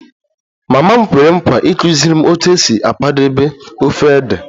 Mama m kwere nkwa ịkụziri m otu esi akwadebe ofe ede